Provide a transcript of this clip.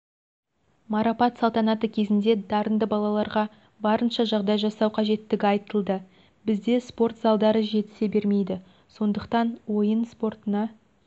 марапат салтанаты кезінде дарынды балаларға барынша жағдай жасау қажеттігі айтылды бізде спорт залдары жетісе бермейді сондықтан ойын спортына